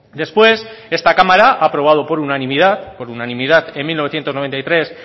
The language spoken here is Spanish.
después esta cámara ha aprobado por unanimidad por unanimidad en mil novecientos noventa y tres